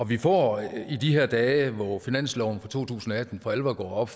vi får i de her dage hvor finansloven for to tusind og atten for alvor går op